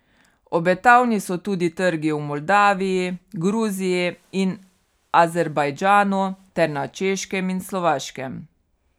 Obetavni so tudi trgi v Moldaviji, Gruziji in Azerbajdžanu ter na Češkem in Slovaškem.